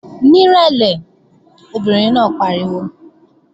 Ní ìrẹ̀lẹ̀! Obìnrin náà pariwo